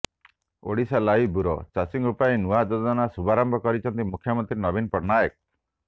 Odisha live bureau ଚାଷୀଙ୍କ ପାଇଁ ନୂଆ ଯୋଜନା ଶୁଭାରମ୍ଭ କରିଛନ୍ତି ମୁଖ୍ୟମନ୍ତ୍ରୀ ନବୀନ ପଟ୍ଟନାୟକ